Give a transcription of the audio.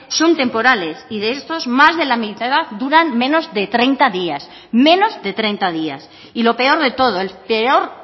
son temporales y de estos más de la mitad duran menos de treinta días menos de treinta días y lo peor de todo el peor